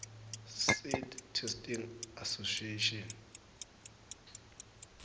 seed testing association